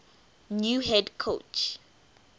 new head coach